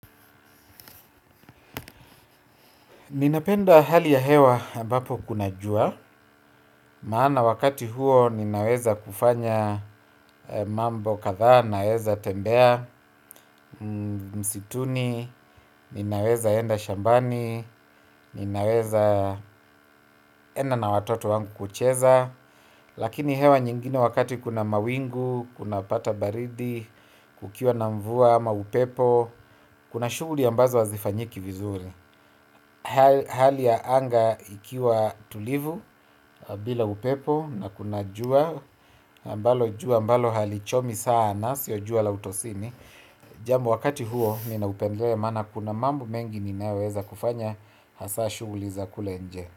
Ninapenda hali ya hewa ambapo kuna jua, maana wakati huo ninaweza kufanya mambo kadhaa, ninaweza tembea msituni, ninaweza enda shambani, ninaweza enda na watoto wangu kucheza, lakini hewa nyingine wakati kuna mawingu, kunapata baridi, kukiwa na mvua, ama upepo, kuna shughuli ambazo hazifanyiki vizuri. Hali ya anga ikiwa tulivu bila upepo na kuna jua ambalo jua ambalo halichomi sana sio jua la utosini. Jambo wakati huo ninaupendelea maana kuna mambo mengi ninayoweza kufanya hasa shughuli za kule nje.